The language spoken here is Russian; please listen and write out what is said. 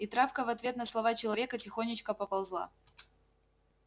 и травка в ответ на слова человека тихонечко поползла